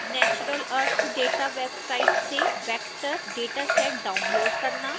natural earth data website से vector dataset download करना